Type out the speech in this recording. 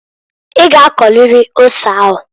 I g'akọrịrị ose ahuǃ